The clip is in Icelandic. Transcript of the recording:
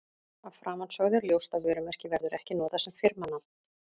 Af framansögðu er ljóst að vörumerki verður ekki notað sem firmanafn.